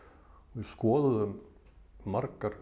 við skoðuðu margar